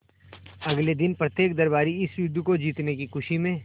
अगले दिन प्रत्येक दरबारी इस युद्ध को जीतने की खुशी में